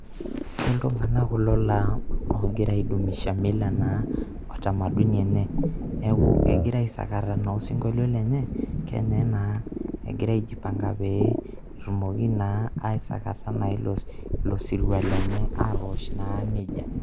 Iltung`anak kulo laa oogira ai dumisha mila naa o utamaduni enye. Neeku kegira naa aisakata osinkolio lenye naa egira aijipanga naa pee etumoki naa aisakata naa ilo sirua lenye atoosh naa nejia.